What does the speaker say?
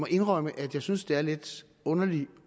indrømme at jeg synes det er lidt underligt